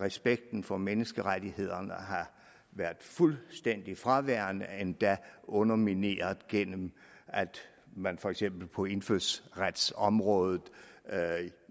respekten for menneskerettighederne har været fuldstændig fraværende endda undermineret gennem at man for eksempel på indfødsretsområdet